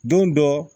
Don dɔ